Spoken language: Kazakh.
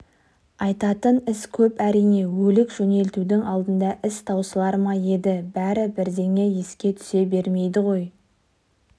айтатын іс көп әрине өлік жөнелтудің алдында іс таусылар ма еді бәрі бірден еске түсе бермейді ғой